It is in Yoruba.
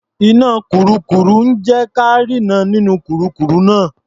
Iná kurúkurù ń jé ka rínran nínú kurúkurù náà.